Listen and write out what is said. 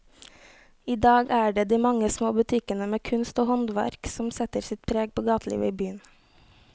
I dag er det de mange små butikkene med kunst og håndverk som setter sitt preg på gatelivet i byen.